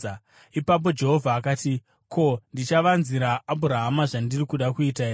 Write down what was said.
Ipapo Jehovha akati, “Ko, ndichavanzira Abhurahama zvandiri kuda kuita here.